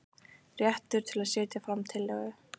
Réttur til að setja fram tillögu.